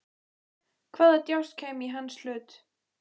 Hvaða djásn kæmi í hans hlut?